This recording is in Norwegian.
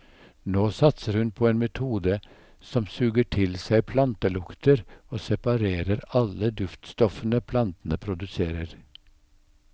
Nå satser hun på en metode som suger til seg plantelukter og separerer alle duftstoffene plantene produserer.